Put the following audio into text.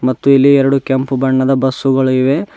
ಮತ್ತು ಇಲ್ಲಿ ಎರಡು ಕೆಂಪು ಬಣ್ಣದ ಬಸ್ಸುಗಳು ಇವೆ.